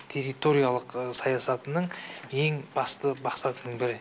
территориялық саясатының ең басты мақсатының бірі